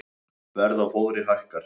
Verð á fóðri hækkar